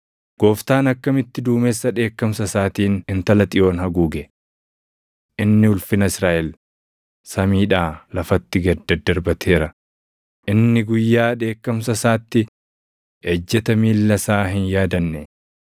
Gooftaan akkamitti duumessa dheekkamsa isaatiin intala Xiyoon haguuge! Inni ulfina Israaʼel samiidhaa lafatti gad daddarbateera; inni guyyaa dheekkamsa isaatti ejjeta miilla isaa hin yaadanne.